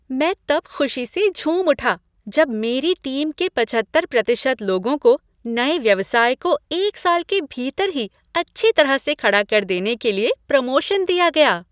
मैं तब खुशी से झूम उठा जब मेरी टीम के पचहत्तर प्रतिशत लोगों को नए व्यवसाय को एक साल के भीतर ही अच्छी तरह से खड़ा कर देने के लिए प्रमोशन दिया गया।